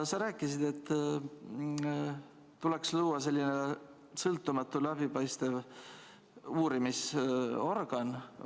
Sa rääkisid, et tuleks luua sõltumatu läbipaistev uurimisorgan.